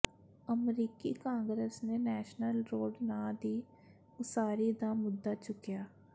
ਅਮਰੀਕੀ ਕਾਂਗਰਸ ਨੇ national road ਨਾਂ ਦੀ ਉਸਾਰੀ ਦਾ ਮੁੱਦਾ ਚੁੱਕਿਆ